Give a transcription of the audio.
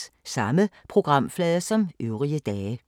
Samme programflade som øvrige dage